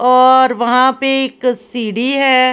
और वहां पे एक सीडी है ।